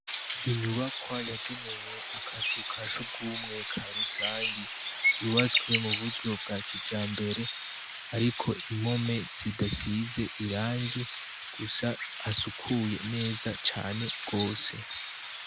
Inyubakwa yagenewe akazukasugumwe karusangi yubatswe muburyo bwakijambere ariko impome zidasize irangi gusa hasukuye neza cane gose